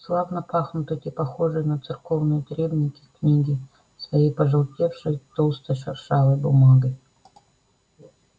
славно пахнут эти похожие на церковные требники книги своей пожелтевшей толстой шершавой бумагой